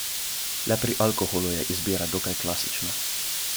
Le pri alkoholu je izbira dokaj klasična.